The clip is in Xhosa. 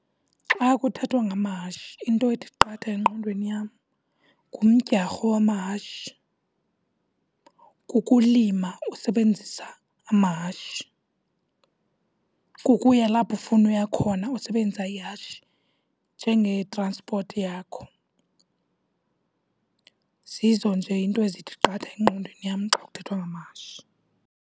Xa kuthethwa ngamahashi into ethi qatha engqondweni yam ngumdyarho wamahashi, kukulima usebenzisa amahashi, kukuya lapho ufuna ukuya khona usebenzisa ihashi njenge-transport yakho. Zizo nje iinto ezithi qatha engqondweni yam xa kuthethwa ngamahashi.